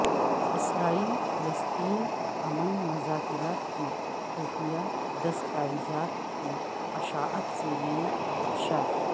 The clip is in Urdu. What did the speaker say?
اسرائیل فلسطین امن مذاکرات کی خفیہ دستاویزات کی اشاعت سے نئے خدشات